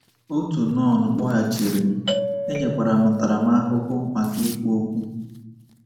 Otu nọn kpọghachiri m, e nyekwara m ntaramahụhụ maka ikwu okwu.